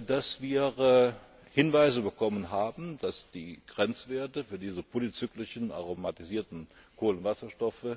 es so, dass wir Hinweise bekommen haben, dass die Grenzwerte für diese polyzyklischen aromatischen Kohlenwasserstoffe